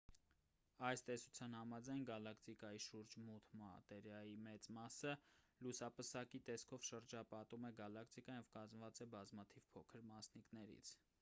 այս տեսության համաձայն գալակտիկայի շուրջ մութ մատերիայի մեծ մասը լուսապսակի տեսքով շրջապատում է գալակտիկան և կազմված է բազմաթիվ փոքր մասնիկներից